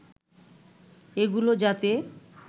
এগুলো যাতে